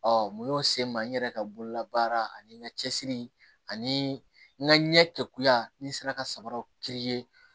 mun y'o se n ma n yɛrɛ ka bololabaara ani n ka cɛsiri ani n ka ɲɛ kɛ kuya ni n sera ka sabara kiri ye